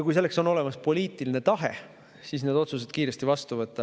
Kui selleks on olemas poliitiline tahe, siis saab need otsused kiiresti vastu võtta.